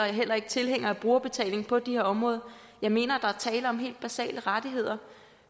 er heller ikke tilhænger af brugerbetaling på de her områder jeg mener der er tale om helt basale rettigheder